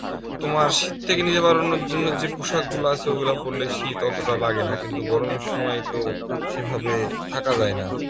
তোমার শীত থেকে নিজে বেরোনোর জন্য যে পোশাক গুলো আছে সেগুলো পড়লে অতটা শীত লাগেনা কিন্তু গরমের সময় তো সেভাবে থাকা যায় না